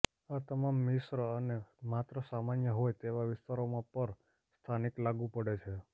આ તમામ મિશ્ર અને માત્ર સમસ્યા હોય તેવા વિસ્તારોમાં પર સ્થાનિક લાગુ પડે છે